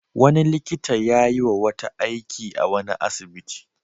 Wani likita ya yi wa wata aiki a wani asibiti.